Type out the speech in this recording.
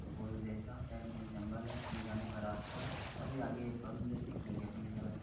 गोल जैसा साइड मे जंगल है मे जाने का रास्ता है रास्ता भी आगे बंद है बीच में गैपइंग है सारा --